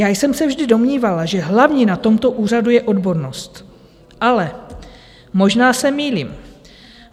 Já jsem se vždy domnívala, že hlavní na tomto úřadu je odbornost, ale možná se mýlím.